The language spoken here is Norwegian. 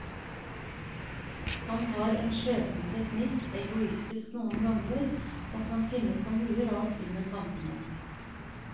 Han har en slepen teknikk, egoistisk noen ganger og kan finne på mye rart under kampene.